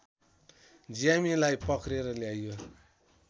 ज्यामीलाई पक्रेर ल्याइयो